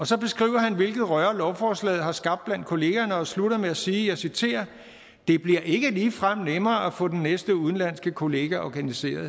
så beskriver han hvilket røre lovforslaget har skabt blandt kollegaerne og slutter med at sige og jeg citerer det bliver ikke ligefrem nemmere at få den næste udenlandske kollega organiseret